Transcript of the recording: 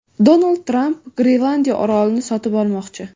Donald Tramp Grenlandiya orolini sotib olmoqchi.